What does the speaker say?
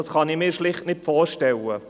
Das kann ich mir schlicht nicht vorstellen.